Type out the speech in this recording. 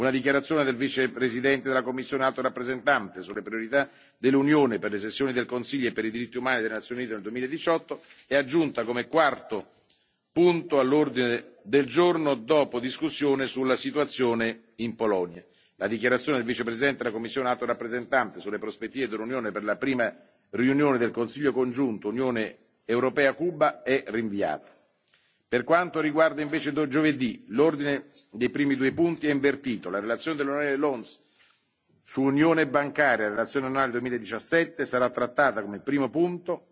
Una dichiarazione del Vicepresidente della Commissione Alto rappresentante sulle priorità dell'UE per le sessioni del Consiglio dei diritti umani delle Nazioni Unite nel 2018 è aggiunta come quarto punto all'ordine del giorno, dopo la discussione sulla situazione in Polonia. La dichiarazione del Vicepresidente della Commissione Alto rappresentante sulle prospettive dell'Unione per la prima riunione del Consiglio congiunto UE Cuba è rinviata. Giovedì L'ordine dei primi due punti è invertito la relazione dell'on. Loones sull'Unione bancaria Relazione annuale 2017 sarà trattata come primo